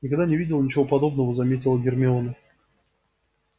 никогда не видела ничего подобного заметила гермиона